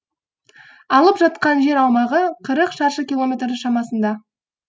алып жатқан жер аумағы қырық шаршы километр шамасында